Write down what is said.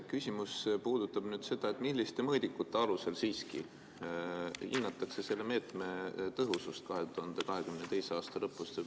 Küsimus puudutab seda, milliste mõõdikute alusel siiski hinnatakse selle meetme tõhusust 2022. aasta lõpus.